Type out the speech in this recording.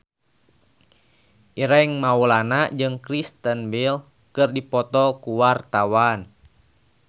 Ireng Maulana jeung Kristen Bell keur dipoto ku wartawan